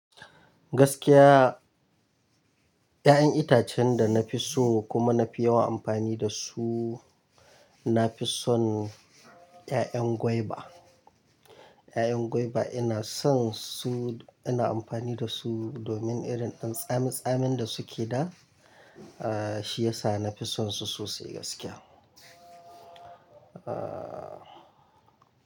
Gaskiya, 'ya'yan itacen da na fi so kuma na fi yawan amfani da su, na fi son 'ya'yan guava. 'Ya'yan guava ina son su, ina amfani da su domin irin tsami tsamin da suke da shi ya sa na fi sonsu sosai gaskiya. Ah.